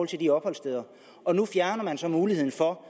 til de opholdssteder og nu fjerner man så muligheden for at